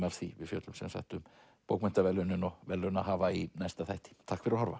af því við fjöllum sem sagt um bókmenntaverðlaunin og verðlaunahafa í næsta þætti takk fyrir að horfa